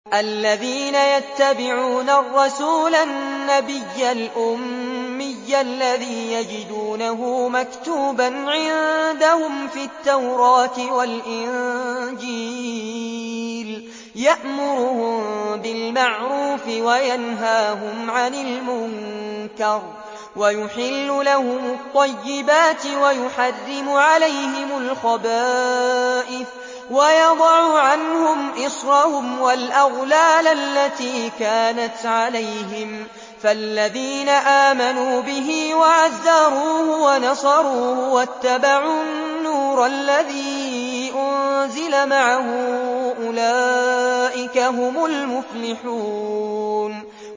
الَّذِينَ يَتَّبِعُونَ الرَّسُولَ النَّبِيَّ الْأُمِّيَّ الَّذِي يَجِدُونَهُ مَكْتُوبًا عِندَهُمْ فِي التَّوْرَاةِ وَالْإِنجِيلِ يَأْمُرُهُم بِالْمَعْرُوفِ وَيَنْهَاهُمْ عَنِ الْمُنكَرِ وَيُحِلُّ لَهُمُ الطَّيِّبَاتِ وَيُحَرِّمُ عَلَيْهِمُ الْخَبَائِثَ وَيَضَعُ عَنْهُمْ إِصْرَهُمْ وَالْأَغْلَالَ الَّتِي كَانَتْ عَلَيْهِمْ ۚ فَالَّذِينَ آمَنُوا بِهِ وَعَزَّرُوهُ وَنَصَرُوهُ وَاتَّبَعُوا النُّورَ الَّذِي أُنزِلَ مَعَهُ ۙ أُولَٰئِكَ هُمُ الْمُفْلِحُونَ